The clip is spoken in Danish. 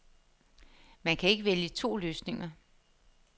Man kan ikke vælge to løsninger.